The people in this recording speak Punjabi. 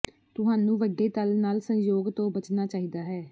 ਤੁਹਾਨੂੰ ਵੱਡੇ ਤਲ ਨਾਲ ਸੰਜੋਗ ਤੋਂ ਬਚਣਾ ਚਾਹੀਦਾ ਹੈ